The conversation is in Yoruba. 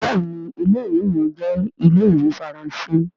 béèni Ilé-ìwé yẹn jẹ Ile-iwe Faranse.